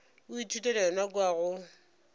o ithutela yona kua go